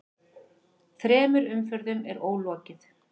Þremur umferðum er ólokið